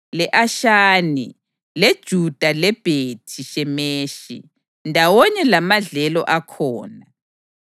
le-Ashani, leJuta leBhethi-Shemeshi, ndawonye lamadlelo akhona.